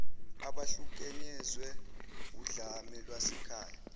abahlukunyezwe wudlame lwasekhaya